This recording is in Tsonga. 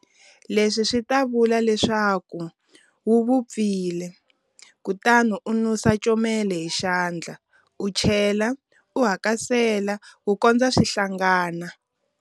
Leswi swi ta vula leswaku wu vupfile, kutani u nusa comela hi xandla u chela u hakasela ku kondza swi hlangana.